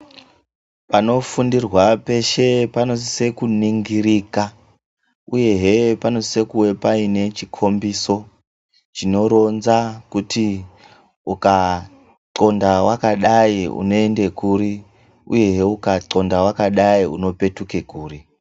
Panofundirwa peshe panosise kunongirika uyehe panosise kuwe paine chikhombiso chinoronza kuti ukaxonda wakadai unoende kuri uyehe ukaxonda wakadai unopetuke kuri.